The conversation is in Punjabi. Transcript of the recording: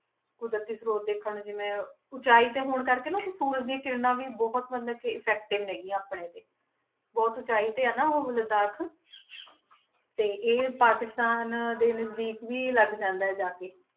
ਕੁਦਰਤੀ ਸ੍ਰੋਤ ਦੇਖਣ ਨੂੰ ਜਿਵੇਂ ਉਚਾਈ ਤੇ ਹੋਣ ਕਰਕੇ ਨਾ ਉੱਥੇ ਸੂਰਜ ਦੀ ਕਿਰਨਾਂ ਵੀ ਬਹੁਤ ਮਤਲਬ ਕਿ effective ਨੇ ਗੀਆਂ ਆਪਣੇ ਤੇ, ਬਹੁਤ ਉਚਾਈ ਤੇ ਆ ਨਾ ਉਹ ਲਦਾਖ ਤੇ ਇਹ ਪਾਕਿਸਤਾਨ ਦੇ ਨਜ਼ਦੀਕ ਵੀ ਲੱਗ ਜਾਂਦਾ ਹੈ ਜਾ ਕੇ।